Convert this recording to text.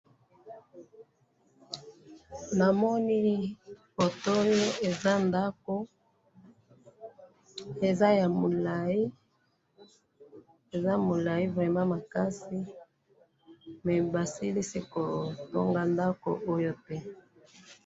na moni foto oyo eza ndaku eza ya mulayi eza mulayi makasi mais basilisi kotonga ndaku oyo te.